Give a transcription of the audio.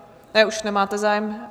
Ne, už nemáte zájem.